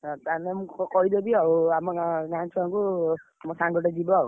ଆ ତାହାଲେ ମୁଁ କହିଦେବି ଆଉ ଆମ ଗାଁ ଗାଁ ଛୁଆଙ୍କୁ ମୋ ସାଙ୍ଗଟେ ଯିବ ଆଉ।